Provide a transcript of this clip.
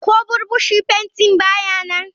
Ko burbushi fenti ba ya nan.